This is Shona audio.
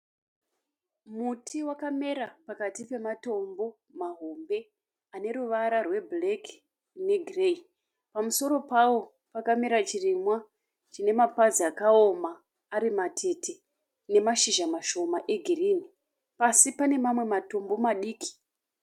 Muti wakamera pakati pematombo mahombe ane ruvara rwebhureki negireyi. Pamusoro pawo pakamera chirimwa chine mapazi akaoma ari matete nemashizha mashoma egirinhi. Pasi pane mamwe matombo madiki.